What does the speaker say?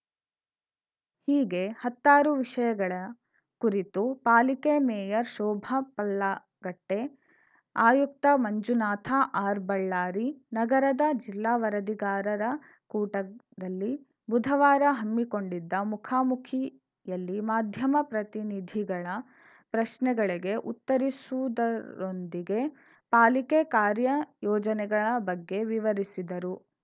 ಹೀಗೆ ಹತ್ತಾರು ವಿಷಯಗಳ ಕುರಿತು ಪಾಲಿಕೆ ಮೇಯರ್‌ ಶೋಭಾ ಪಲ್ಲಾಗಟ್ಟೆ ಆಯುಕ್ತ ಮಂಜುನಾಥ ಆರ್‌ಬಳ್ಳಾರಿ ನಗರದ ಜಿಲ್ಲಾ ವರದಿಗಾರರ ಕೂಟದಲ್ಲಿ ಬುಧವಾರ ಹಮ್ಮಿಕೊಂಡಿದ್ದ ಮುಖಾಮುಖಿಯಲ್ಲಿ ಮಾಧ್ಯಮ ಪ್ರತಿನಿಧಿಗಳ ಪ್ರಶ್ನೆಗಳಿಗೆ ಉತ್ತರಿಸುವದರೊಂದಿಗೆ ಪಾಲಿಕೆ ಕಾರ್ಯ ಯೋಜನೆಗಳ ಬಗ್ಗೆ ವಿವರಿಸಿದರು